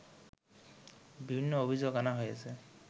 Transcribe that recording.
বিভিন্ন অভিযোগ আনা হয়েছে